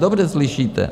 Dobře slyšíte!